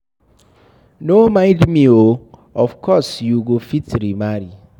No mind me oo, of course you go fit remarry.